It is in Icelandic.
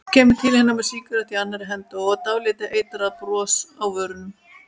Kemur til hennar með sígarettu í annarri hendi og dálítið eitrað bros á vörunum.